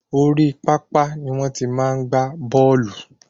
Orí papa ni wọ́n ti máa n gba bóòlù